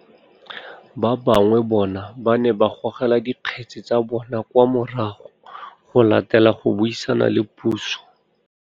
Ba bangwe bona ba ne ba gogela dikgetse tsa bona kwa morago go latela go buisana le puso.